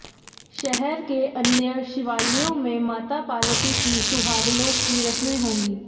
शहर के अन्य शिवालयों में माता पार्वती की सुहागलों की रस्में होंगी